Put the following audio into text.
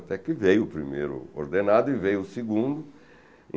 Até que veio o primeiro ordenado e veio o segundo.